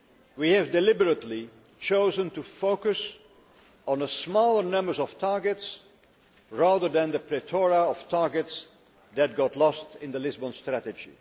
We have deliberately chosen to focus on a smaller number of targets rather than the plethora of targets that got lost in the Lisbon Strategy.